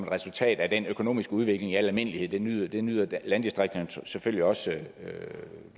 resultat af den økonomiske udvikling i almindelighed det nyder det nyder landdistrikterne selvfølgelig også godt af